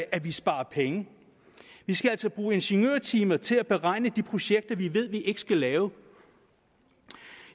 at vi sparer penge vi skal altså bruge ingeniørtimer til at beregne de projekter vi ved vi ikke skal lave